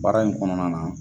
Baara in kɔnɔna na